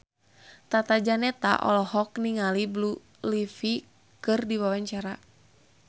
Tata Janeta olohok ningali Blue Ivy keur diwawancara